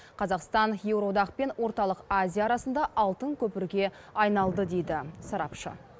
қазақстан еуроодақ пен орталық азия арасында алтын көпірге айналды дейді сарапшы